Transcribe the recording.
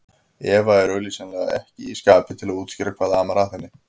Eva er augsýnilega ekki í skapi til að útskýra hvað amar að henni.